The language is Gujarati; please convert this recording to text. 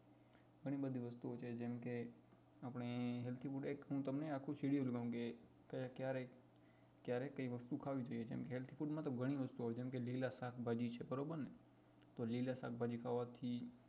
ઘણી બધી વસ્તુ ઓ છે જેમ કે આપણે healthy food એક હું તમને આખું schedule જાણવું કે ક્યારે કઈ વસ્તુઓ ખાવી જોઈએ જેમ healthy food માં તો ઘણી બધી વસ્તુઓ આવે જેમ કે લીલા શાકભાજી છે બરોબર ને તો લીલા શાકભાજી ખાવા થી